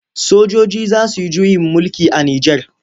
Sojoji za su yi juyin mulki a Nijar.